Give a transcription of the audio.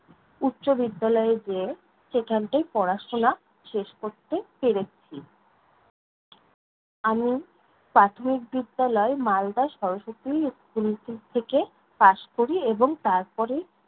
উচ্চবিদ্যালয়ে যেয়ে সেখানটায় পড়াশোনা শেষ করতে পেরেছি। আমি প্রাথমিক বিদ্যালয় মালদা সরস্বতী school থে~ থেকে pass করি এবং তারপরে